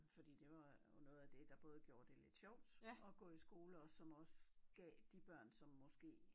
Fordi det var jo noget af det der både gjorde det lidt sjovt at gå i skole og som også gav de børn som måske